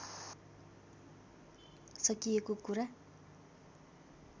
सकिएको कुरा